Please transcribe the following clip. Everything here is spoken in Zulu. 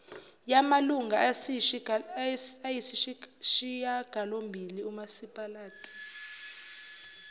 yamalunga ayisishiyagalombili umasipalati